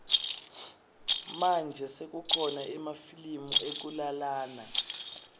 manje sekukhona emafilimu ekulalana